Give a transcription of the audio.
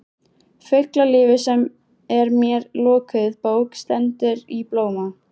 Fuglalífið sem er mér lokuð bók stendur í blóma.